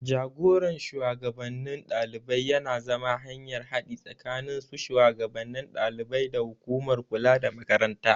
Jagoran shugabannin ɗalibai yana zama hanyar haɗi tsakanin su shugannin ɗaliban da hukumar kula da Makaranta.